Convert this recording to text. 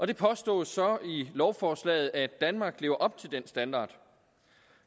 det påstås så i lovforslaget at danmark lever op til den standard